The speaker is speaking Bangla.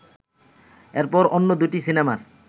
এরপরই অন্য দুটি সিনেমার